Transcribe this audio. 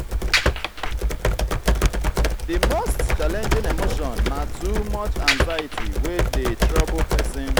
di most challenging emotion na too much anxiety wey dey trouble pesin.